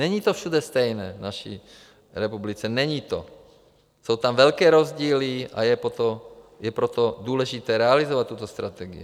Není to všude stejné v naší republice, není to, jsou tam velké rozdíly, a je proto důležité realizovat tuto strategii: